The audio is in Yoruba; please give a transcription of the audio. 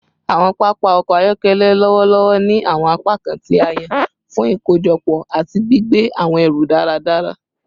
Awọn papa ọkọ ayọkẹlẹ lọwọlọwọ ni awọn apakan ti a yan fun ikojọpọ ati gbigbe awọn ẹru daradara